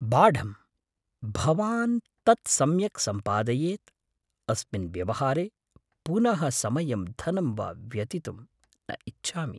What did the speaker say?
बाढम्, भवान् तत् सम्यक् सम्पादयेत्। अस्मिन् व्यवहारे पुनः समयं धनं वा व्यतितुं न इच्छामि।